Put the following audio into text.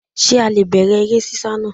Sé a le è bẹ̀rẹ̀ eré sísá naa